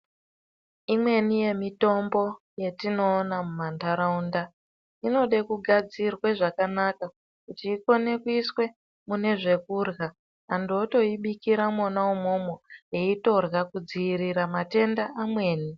Imweni yemitombo yatinoona mumanharaunda inode kugadzirwa zvakanaka kuti ikone kuiswe mune zvekurya. Antu votoibikire mwona-mwomwo eitorya kudzivirira matenda amweni.